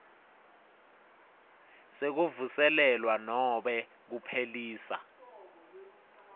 sekuvuselelwa nobe kuphelisa